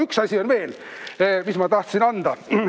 Üks asi on veel, mis ma tahtsin anda.